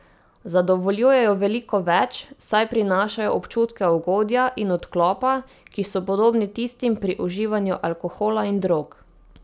Zadovoljujejo veliko več, saj prinašajo občutke ugodja in odklopa, ki so podobni tistim pri uživanju alkohola in drog.